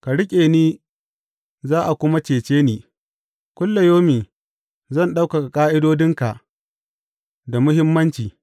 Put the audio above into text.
Ka riƙe ni za a kuma cece ni; kullayaumi zan ɗauka ƙa’idodinka da muhimmanci.